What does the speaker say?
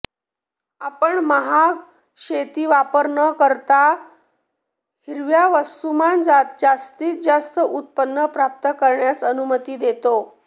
आपण महाग शेती वापर न करता हिरव्या वस्तुमान जास्तीत जास्त उत्पन्न प्राप्त करण्यास अनुमती देते